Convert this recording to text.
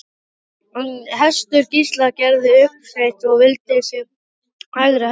En hestur Gísla gerði uppsteyt og vildi sig hvergi hræra.